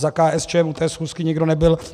Za KSČM u té schůzky nikdo nebyl.